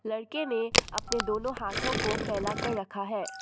लड़के ने अपने दोनों हाथों को फैला कर रखा है।